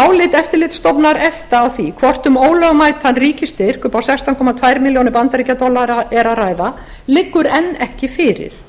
álit eftirlitsstofnunar efta á því hvort um ólögmætan ríkisstyrk upp á sextán komma tveimur milljónum bandaríkjadollara er að ræða liggur enn ekki fyrir